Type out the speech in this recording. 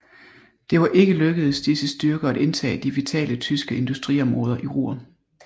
Det var ikke lykkedes disse styrker at indtage de vitale tyske industriområder i Ruhr